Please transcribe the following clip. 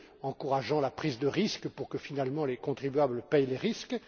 encourageant la prise de risque pour que, finalement, les contribuables paient les risques